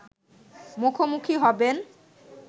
মুখোমুখি হবেন